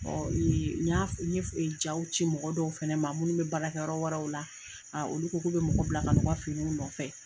n y'a fɔ i ye jaw ci mɔgɔ dɔw fɛnɛ ma minnu bɛ baarakɛ yɔrɔ wɛrɛw la olu ko k'u bɛ mɔgɔ bila ka na o ka finiw nɔfɛ.